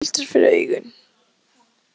En ef maður heldur fyrir augun.